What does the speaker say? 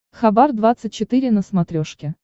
хабар двадцать четыре на смотрешке